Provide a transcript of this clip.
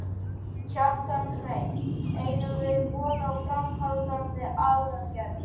Kjartan Hreinn: Eigum við von á áframhaldandi aðgerðum?